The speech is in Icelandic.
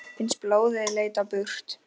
Finnst blóðið leita burt.